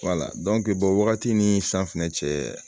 wagati ni san fɛnɛ cɛ